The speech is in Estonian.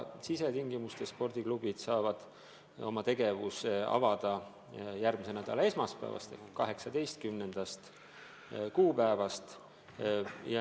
Sisetingimustes saavad spordiklubid tegevust alustada järgmise nädala esmaspäevast, 18. kuupäevast.